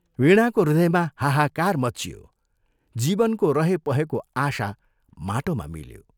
वीणाको हृदयमा हाहाकार मच्चियो, जीवनको रहेपहेको आशा माटोमा मिल्यो।